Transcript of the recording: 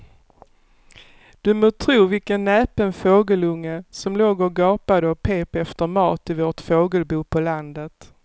Du må tro vilken näpen fågelunge som låg och gapade och pep efter mat i vårt fågelbo på landet.